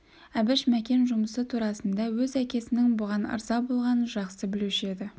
әбіш мәкен жұмысы турасында өз әкесінің бұған ырза болғанын жақсы білуші еді